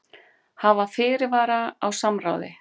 Hafa fyrirvara á samráði